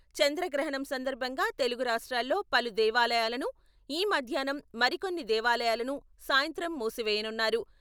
చంద్రగ్రహణం సందర్భంగా తెలుగు రాష్ట్రాల్లో పలు దేవాలయాలను ఈ మధ్యాహ్నం, మరికొన్ని దేవాలయాలను సాయంత్రం మూసివేయనున్నారు.